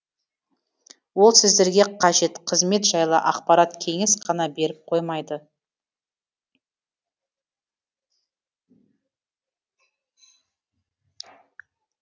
ол сіздерге қажет қызмет жайлы ақпарат кеңес қана беріп қоймайды